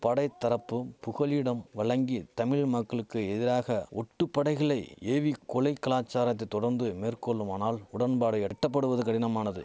படைத்தரப்பு புகலிடம் வழங்கி தமிழ் மக்களுக்கு எதிராக ஒட்டு படைகளை ஏவி கொலை கலாச்சாரத்தை தொடர்ந்து மேற்கொள்ளுமானால் உடன்பாடு எட்டப்படுவது கடினமானது